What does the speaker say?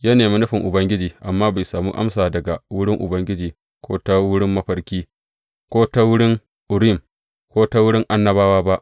Ya nemi nufin Ubangiji amma bai sami amsa daga wurin Ubangiji ko ta wurin mafarki, ko ta wurin Urim, ko ta wurin annabawa ba.